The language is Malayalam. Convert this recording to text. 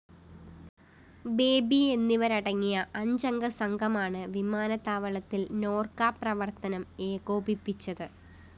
ബേബി എന്നിവരടങ്ങിയ അഞ്ചംഗ സംഘമാണ് വിമാനത്താവളത്തില്‍ നോര്‍ക്ക പ്രവര്‍ത്തനം ഏകോപിപ്പിച്ചത്